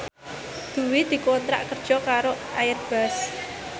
Dwi dikontrak kerja karo Airbus